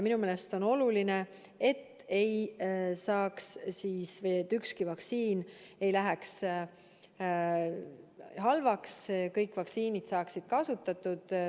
Minu meelest on oluline, et ükski vaktsiin ei läheks halvaks, vaid kõik vaktsiinid saaksid kasutatud.